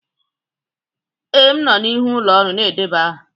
Ee, m nọ n'ihu ụlọ ọrụ na-edeba aha.